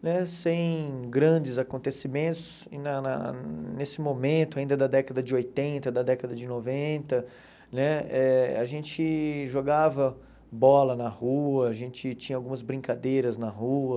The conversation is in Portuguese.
né, sem grandes acontecimentos, e na na nesse momento ainda da década de oitenta, da década de noventa né eh, a gente jogava bola na rua, a gente tinha algumas brincadeiras na rua.